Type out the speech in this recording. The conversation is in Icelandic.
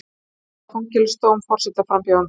Fordæma fangelsisdóm forsetaframbjóðanda